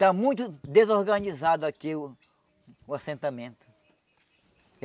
Está muito desorganizado aqui o o assentamento.